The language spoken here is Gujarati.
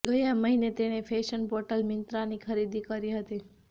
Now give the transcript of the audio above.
ગયા મહિને તેણે ફેશન પોર્ટલ મિન્ત્રાની ખરીદી કરી હતી